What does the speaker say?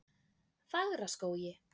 Fagraskógi